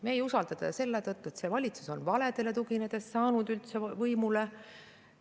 Meie ei usaldada teda selle tõttu, et see valitsus sai üldse võimule valedele tuginedes.